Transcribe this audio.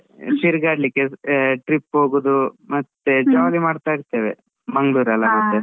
ತಿರ್ಗಾಡಲಿಕ್ಕೆ trip ಹೋಗೋದು, ಮತ್ತೆ jolly ಮಾಡ್ತಾ ಇರ್ತೇವೆ, ಮಂಗ್ಳೂರ್ ಅಲ .